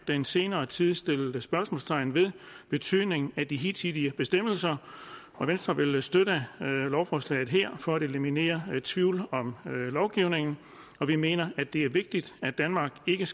den senere tid sat spørgsmålstegn ved betydningen af de hidtidige bestemmelser og venstre vil støtte lovforslaget her for at eliminere tvivl om lovgivningen vi mener at det er vigtigt at danmark ikke